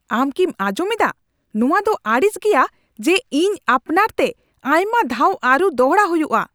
ᱟᱢ ᱠᱤᱢ ᱟᱸᱡᱚᱢ ᱮᱫᱟ ? ᱱᱚᱣᱟ ᱫᱚ ᱟᱹᱲᱤᱥ ᱜᱮᱭᱟ ᱡᱮ ᱤᱧ ᱟᱯᱱᱟᱨᱛᱮ ᱟᱭᱢᱟ ᱫᱷᱟᱣ ᱟᱹᱨᱩ ᱫᱚᱲᱦᱟ ᱦᱩᱭᱩᱜᱼᱟ ᱾